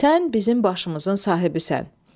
Sən bizim başımızın sahibisən.